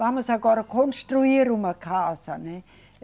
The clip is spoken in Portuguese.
Vamos agora construir uma casa, né?